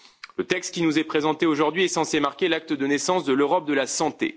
Le texte qui nous est présenté aujourd'hui est censé marquer l'acte de naissance de l'Europe de la santé.